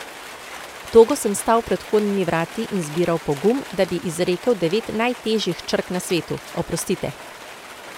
Togo sem stal pred vhodnimi vrati in zbiral pogum, da bi izrekel devet najtežjih črk na svetu: 'oprostite'.